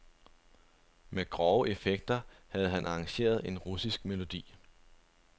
Med grove effekter havde han arrangeret en russisk melodi.